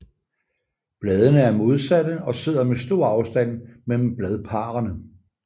Bladene er modsatte og sidder med stor afstand mellem bladparrene